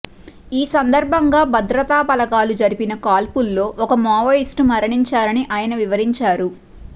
ఈ సందర్భంగా భద్రతాబలగాలు జరిపిన కాల్పుల్లో ఒక మావోయిస్టు మరణించారని ఆయన వివరించారు